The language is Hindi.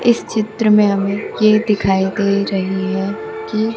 इस चित्र में हमें ये दिखाई दे रही है कि--